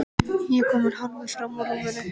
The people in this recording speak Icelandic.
Ég er kominn hálfur fram úr rúminu.